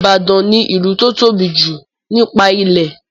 Ìbàdàn ní ìlú to tóbi jù nípa ilẹ̀.